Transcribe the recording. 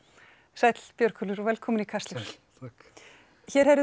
sæll Björgólfur og velkominn í Kastljós hér heyrðum